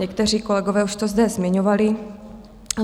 Někteří kolegové už to zde zmiňovali.